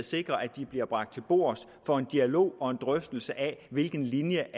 sikrer at de bliver bragt til bord for en dialog og drøftelse af hvilken linje